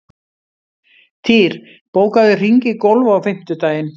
Týr, bókaðu hring í golf á fimmtudaginn.